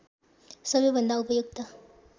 सबैभन्दा उपयुक्त